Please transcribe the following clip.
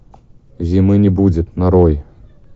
зимы не будет нарой